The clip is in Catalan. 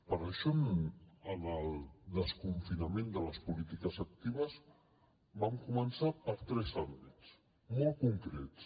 per això en el desconfinament de les polítiques actives vam començar per tres àmbits molt concrets